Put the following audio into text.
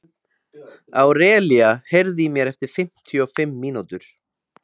Árelía, heyrðu í mér eftir fimmtíu og fimm mínútur.